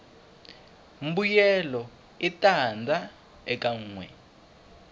mbuyelo i tanda ekanwe